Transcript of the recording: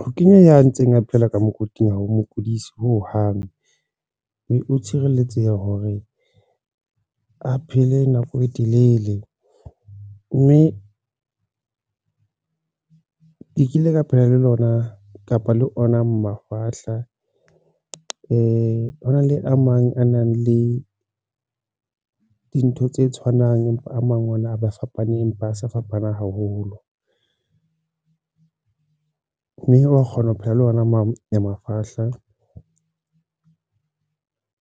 Ho kenya ya ntseng a phela ka mokoting hao mokotlisi hohang mme o tshireletseha hore a phele nako e telele mme ke kile ka phela le lona kapa le ona mafahla hona le a mang a nang le dintho tse tshwanang, empa a mang a ona a ba fapane empa a se fapaneng haholo mme wa kgona ho phela le ona mo mafahla